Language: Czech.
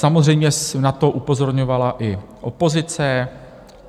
Samozřejmě na to upozorňovala i opozice.